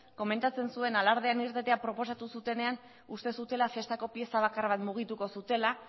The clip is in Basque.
komentatzen zuen alardean irtetea proposatu zutenean uste zutela festako pieza bakar bat mugituko zutela